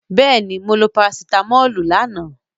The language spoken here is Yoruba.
Yes, i took paracetamol yesterday